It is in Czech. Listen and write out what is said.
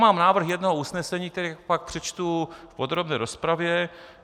Mám návrh jednoho usnesení, který pak přečtu v podrobné rozpravě.